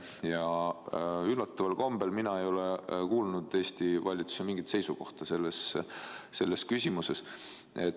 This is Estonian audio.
Ja üllataval kombel ei ole mina kuulnud Eesti valitsuselt mingit seisukohta selles küsimuses.